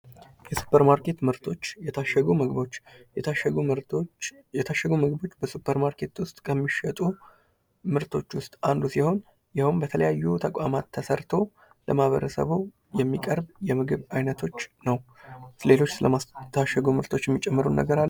የሱፐር ማርኬት ምርቶች የታሸጉ ምግቦች የታሸጉ ምግቦች በሱፐር ማርኬት ውስጥ ከሚሸጡ ምርቶች ውስጥ አንዱ ሲሆን ያውም በተለያዩ ተቋማት ተሰርተው ለማህበረሰቡ የሚቀርብ የምግብ አይነቶች ነው። ስለሌሎች የታሸጉ ምግቦች የምትጨምረው ነገር አለ?